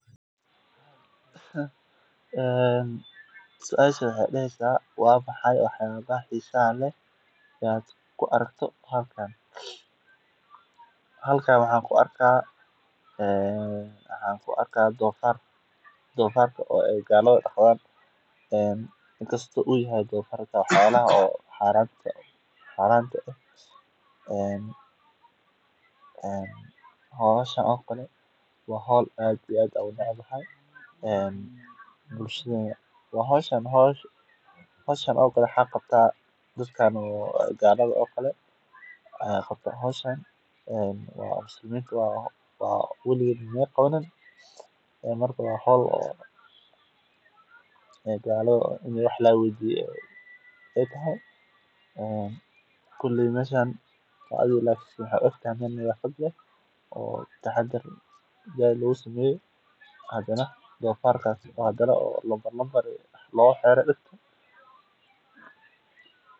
Doofarka waa xayawaan dhaqameed muhiim u ah dad badan oo ku nool miyiga iyo meelaha beeraleyda ah. Waxaa lagu dhaqdaaa hilibkiisa oo si weyn loo cuno, gaar ahaan marka uu gaaro da’da qaan-gaarnimada. Doofarka wuxuu caan ku yahay inuu si dhaqso ah u koro isla markaana uu cuno noocyo badan oo cunto ah, taas oo ka dhigaysa mid dhaqaale ahaan waxtar leh. Intaa waxaa dheer, doofarka ayaa loo isticmaalaa qaybihiisa kala duwan sida maqaarka oo laga sameeyo alaabooyin maqaarka ah iyo xataa dufanka